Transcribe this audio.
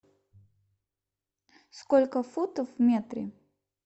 сколько футов в метре